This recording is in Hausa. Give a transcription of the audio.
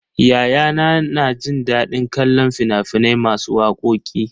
Yayana na jin daɗin kallon fina-finai masu wakoki.